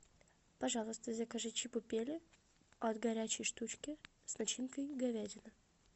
пожалуйста закажи чебупели от горячей штучки с начинкой говядина